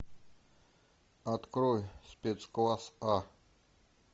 открой спецкласс а